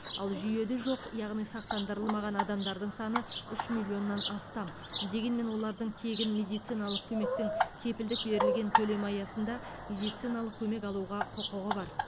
ал жүйеде жоқ яғни сақтандырылмаған адамдардың саны үш миллионнан астам дегенмен олардың тегін медициналық көмектің кепілдік берілген көлемі аясында медициналық көмек алуға құқығы бар